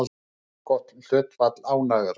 Allgott hlutfall ánægðra